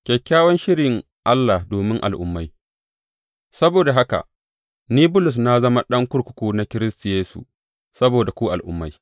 Kyakkyawan shirin Allah domin al’ummai Saboda haka, ni Bulus, na zama ɗan kurkuku na Kiristi Yesu saboda ku Al’ummai.